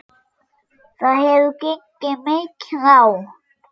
Það hefur gengið mikið á!